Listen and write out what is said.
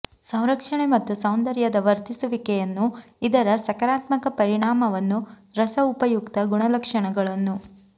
ಸಂರಕ್ಷಣೆ ಮತ್ತು ಸೌಂದರ್ಯದ ವರ್ಧಿಸುವಿಕೆಯನ್ನು ಇದರ ಸಕಾರಾತ್ಮಕ ಪರಿಣಾಮವನ್ನು ರಸ ಉಪಯುಕ್ತ ಗುಣಲಕ್ಷಣಗಳನ್ನು